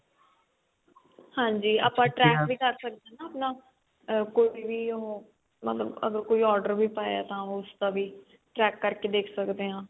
ਹਾਂਜੀ ਆਪਾਂ track ਵੀ ਕਰ ਆਪਣਾ ਕੋਈ ਵੀ ਉਹ ਮਤਲਬ ਅਗਰ ਕੋਈ order ਵੀ ਪਾਇਆ ਤਾਂ ਉਸਦਾ ਵੀ check ਕਰਕੇ ਦੇਖ ਸਕਦੇ ਹਾਂ